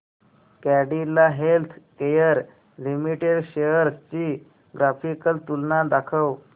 Cadila healthcare limited shares ची graphical तुलना दाखव